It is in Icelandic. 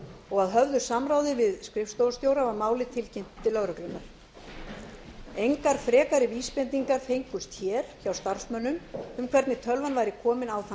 og að höfðu samráði við skrifstofustjóra var málið tilkynnt til lögreglunnar engar frekari vísbendingar fengust hér hjá starfsmönnum um hvernig tölvan væri komin á þann